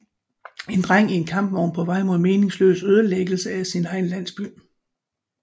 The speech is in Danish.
En dreng i en kampvogn på vej mod meningsløs ødelæggelse af sin egen landsby